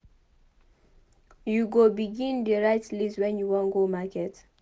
You go begin dey write list wen you wan go market.